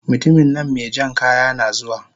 mutuminnan mejan kaya nazuwa